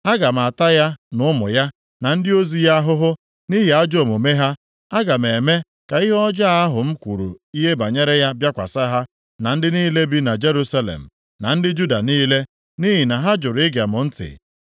Aga m ata ya na ụmụ ya, na ndị ozi ya ahụhụ nʼihi ajọ omume ha. Aga m eme ka ihe ọjọọ ahụ m kwuru ihe banyere ya bịakwasị ha na ndị niile bi na Jerusalem, na ndị Juda niile, nʼihi na ha jụrụ ige m ntị.’ ”